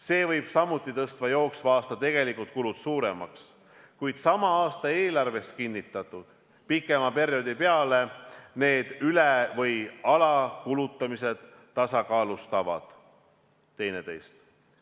See võib samuti tõsta jooksva aasta tegelikud kulud suuremaks, kuid sama aasta eelarves kinnitatud pikema perioodi peale need üle- või alakulutamised tasakaalustavad teineteist.